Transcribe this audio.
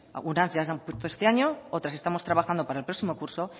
algunas ya dan fruto este año otras estamos trabajando para el próximo curso